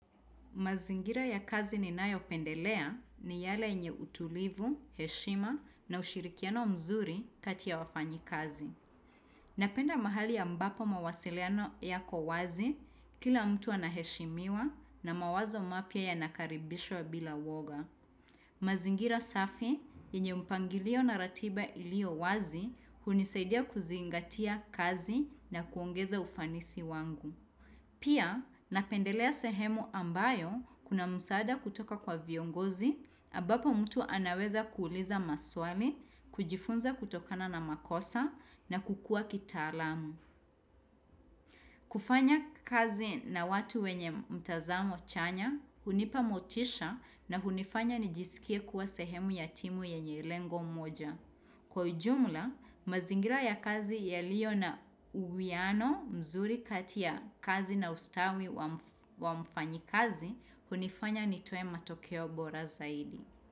Mazingira ya kazi ni nayo pendelea ni yale yenye utulivu, heshima na ushirikiano mzuri katia wafanyi kazi. Napenda mahali ya ambapo mawasiliano yako wazi kila mtu anaheshimiwa na mawazo mapia ya nakaribishwa bila woga. Mazingira safi yenye mpangilio na ratiba ilio wazi hunisaidia kuzingatia kazi na kuongeza ufanisi wangu. Pia, napendelea sehemu ambayo kuna msaada kutoka kwa viongozi ambapo mtu anaweza kuuliza maswali, kujifunza kutokana na makosa na kukua kitaalamu. Kufanya kazi na watu wenye mtazamo chanya, hunipa motisha na hunifanya nijisikie kuwa sehemu yatimu yenye lengo moja. Kwa ujumla, mazingira ya kazi yaliyo na uwiano mzuri katia kazi na ustawi wa mfanyikazi hunifanya nitoe matokeo bora zaidi.